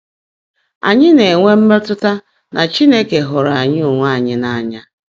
Ányị́ ná-ènwé mmétụ́tá ná Chínekè hụ́ụ́rụ́ ányị́ óńwé ányị́ n’áńyá.